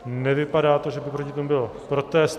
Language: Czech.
Nevypadá to, že by proti tomu byl protest.